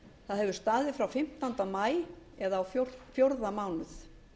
það hefur staðið frá fimmtánda maí eða á fjórða mánuð